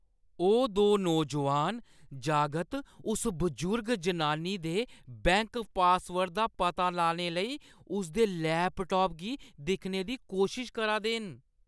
ओह् दो नौजोआन जागत उस बजुर्ग जनानी दे बैंक पासवर्ड दा पता लाने लेई उसदे लैपटाप गी दिक्खने दी कोशश करा दे न।